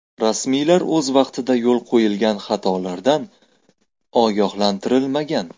Rasmiylar o‘z vaqtida yo‘l qo‘yilgan xatolardan ogohlantirilmagan.